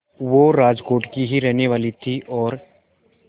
वो राजकोट की ही रहने वाली थीं और